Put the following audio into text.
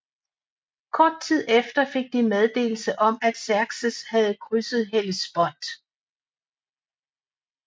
Kort tid efter fik de meddelelse om at Xerxes havde krydset Hellespont